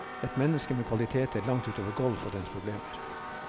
Et menneske med kvaliteter langt utover golf og dens problemer.